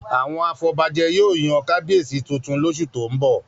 Àwọn afọbajẹ yóò yan kábíyèsí tuntun lóṣù tó ń bọ̀